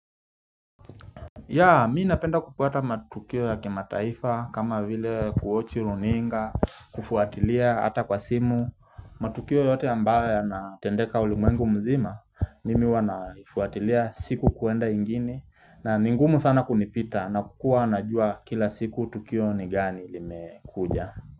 Yeah, mi napenda kupata matukio ya kimataifa, kama vile kuochi runinga, kufuatilia ata kwa simu matukio yote ambayo yanatendeka ulimwengu mzima, mimi huwa naifuatilia siku kuenda ingine na ni ngumu sana kunipita, na kukua anajua kila siku tukio ni gani lime kuja.